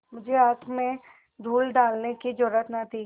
मुझे आँख में धूल डालने की जरुरत न थी